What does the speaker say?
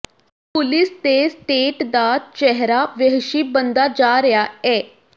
police ਤੇ state ਦਾ ਚਿਹਰਾ ਵਹਿਸ਼ੀ ਬਣਦਾ ਜਾ ਰਿਹਾ ਏ